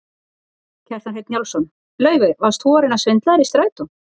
Kjartan Hreinn Njálsson: Laufey, varst þú að reyna að svindla þér inn í strætó?